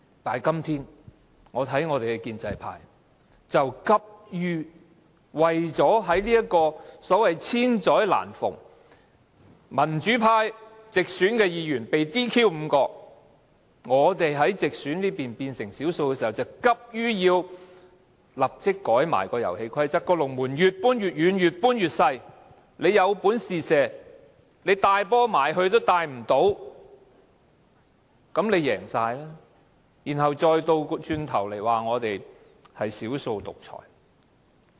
但是，今天我看到建制派，急於為了在這個"千載難逢"，民主派5位直選議員被 "DQ"， 我們在直選那邊變成少數的時機下，便急於修改遊戲規則，將龍門越搬越遠，越改越細，着我們有本事便射球，但我們連球也帶不到龍門附近。